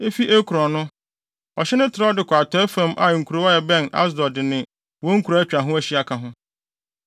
efi Ekron no, ɔhye no trɛw de kɔ atɔe fam a nkurow a ɛbɛn Asdod ne wɔn nkuraa a atwa ho ahyia ka ho.